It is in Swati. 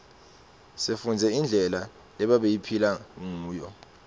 sifundze indlela lebabephila nguyo